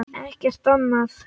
Ekkert annað?